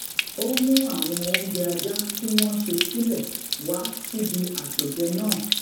ó mú àwọn oúnjẹ ajá tí wón ṣe nílé wá síbi àpèjẹ náà